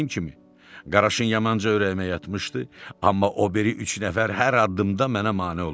Dediyim kimi, qaraşın yamanca ürəyimə yatmışdı, amma o biri üç nəfər hər addımda mənə mane olurdu.